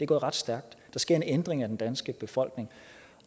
gået ret stærkt der sker en ændring af den danske befolkning